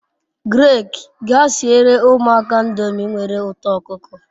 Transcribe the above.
Greg, gaa siere umuaka ndomi nwere uto okuko